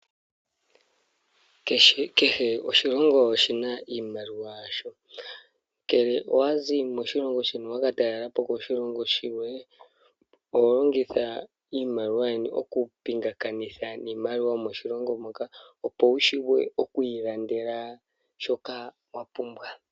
Keshe oshilongo oshina iimaliwa yasho ,ngele owazi moshilongo shimwe wa katalelapo moshilongo oshikwawo oho longitha iimaliwa yeni oku pingakanitha miimaliwa yomoshilongo shoka opo wu shiwe oku ilandela shoka wapumbwa.